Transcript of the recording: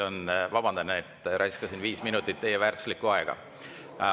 Vabandan, et raiskasin viis minutit teie väärtuslikku aega.